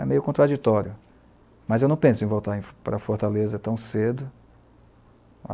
É meio contraditório, mas eu não penso em voltar para Fortaleza tão cedo.